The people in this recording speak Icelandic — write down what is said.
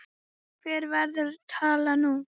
Hver verður talan nú?